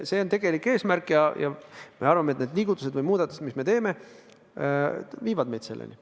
See on tegelik eesmärk ja me arvame, et need liigutused või muudatused, mis me teeme, viivad meid selleni.